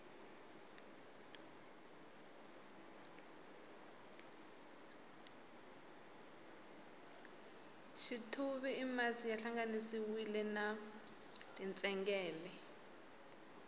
xithuvi i masi ya hlanganisiwile na tintsengele